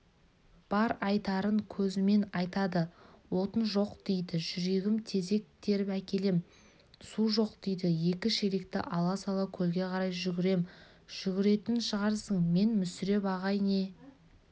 бар айтарын көзімен айтады отын жоқ дейді жүгірем тезек теріп әкелем су жоқ дейді екі шелекті ала-сала көлге қарай жүгірем жүгіретін шығарсың мен мүсіреп ағай не